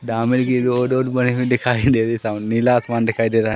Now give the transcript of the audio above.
दामन की रोड और बनी हुई दिखाई दे रही है सामने नीला आसमान दिखाई दे रहा है।